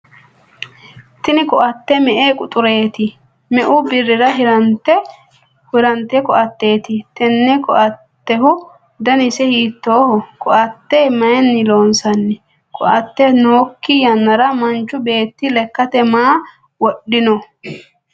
tini koatte me''e quxureeti? meu birrira hirrannite koatteeti? tenne koattehu danise hiittooho? koatte mayiinni loonsanni? koatte nookki yannara manchi beetti lekkate maa wodhanno?